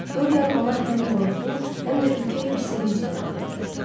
Dorian ona həm qorxu, həm də ürkək bir sevinc ilə baxırdı.